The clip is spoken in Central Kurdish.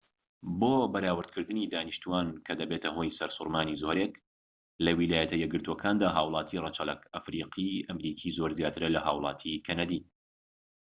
بۆ بەراوردکردنی دانیشتوان کە دەبێتە هۆی سەرسوڕمانی زۆرێك لە ویلایەتە یەکگرتوەکاندا هاوڵاتی ڕەچەڵەک ئەفریقی-ئەمریکی زۆر زیاترە لە هاوڵاتیانی کەنەدی